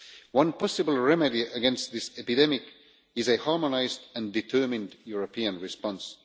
One possible remedy against this epidemic is a harmonised and determined European response.